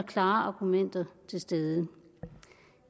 klare argumenter til stede